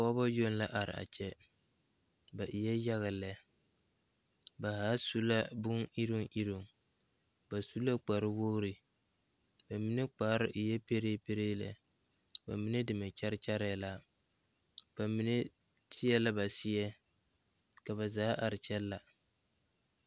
Pɔgeba yoŋ la are a Kyɛ ba eɛ yaga lɛ ba zaa su la boniruŋ iruŋ ba su la kparewogri ba mine kpare eɛ peree peree lɛ ba mine deme kyɛre kyɛrɛɛ la ba mine teɛ la ba seɛ ka ba zaa are kyɛ la.